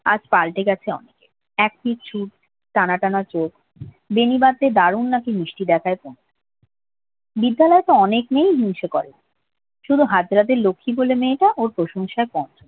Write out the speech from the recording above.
আজ পাল্টে গেছে অনেক এক টানা টানা চোখ বিনি বাধলে দারুন নাকি মিষ্টি দেখায় পুনু বিদ্যালয়ে তো অনেক মেয়েই হিংসে করে শুধু লক্ষী বলে মেয়েটা ওর প্রশংসা